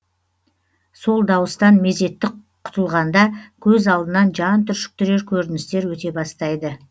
сол дауыстан мезеттік құтылғанда көз алдынан жан түршіктірер көріністер өте бастайды